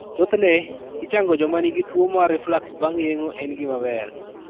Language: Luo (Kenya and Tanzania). Thothne, ichango joma nigi tuwo mar reflux bang ' yeng'o en gima ber.